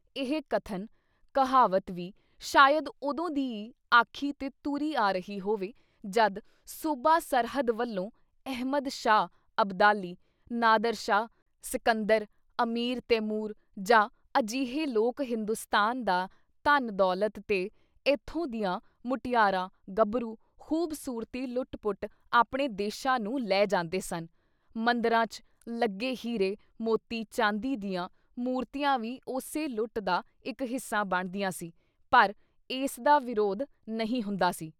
ਇਹ ਕਥਨ/ਕਹਾਵਤ ਵੀ ਸ਼ਾਇਦ ਉਦੋਂ ਦੀ ਈ ਆਖੀ ਤੇ ਤੁਰੀ ਆ ਰਹੀ ਹੋਵੇ ਜਦ ਸੂਬਾ ਸਰਹੱਦ ਵੱਲੋਂ ਅਹਿਮਦ ਸ਼ਾਹ ਅਬਦਾਲੀ, ਨਾਦਰ ਸ਼ਾਹ, ਸਕੰਦਰ, ਆਮੀਰ ਤੈਮੂਰ ਜਾਂ ਅਜਿਹੇ ਲੋਕ ਹਿੰਦੂਸਤਾਨ ਦਾ ਧਨ ਦੌਲਤ ਤੇ ਏਥੋਂ ਦੀਆਂ ਮੁਟਿਆਰਾਂ, ਗੱਭਰੂ, ਖੂਬਸੂਰਤੀ ਲੁੱਟ-ਪੁੱਟ ਆਪਣੇ ਦੇਸ਼ਾਂ ਨੂੰ ਲੈ ਜਾਂਦੇ ਸਨ ਮੰਦਰਾਂ ‘ਚ ਲੱਗੇ ਹੀਰੇ, ਮੋਤੀ, ਚਾਂਦੀ ਦੀਆਂ ਮੂਰਤੀਆਂ ਵੀ ਉਸੇ ਲੁੱਟ ਦਾ ਇੱਕ ਹਿੱਸਾ ਬਣਦੀਆਂ ਸੀ ਪਰ ਇਸਦਾ ਵਿਰੋਧ ਨਹੀਂ ਹੁੰਦਾ ਸੀ।